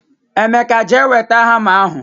emeka jee weta hama ahu